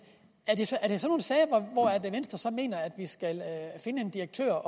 er det i sådan nogle sager at venstre så mener at vi skal finde en direktør